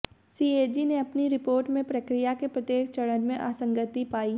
CAG ने अपनी report में प्रक्रिया के प्रत्येक चरण में असंगति पाई